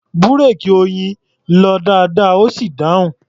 Búréèkì Oyin lọ dáadáa, ó sì dáhùn.